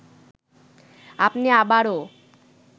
আপনি আবারও